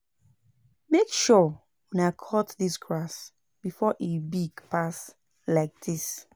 Make sure una cut dis grass before e big pass like dis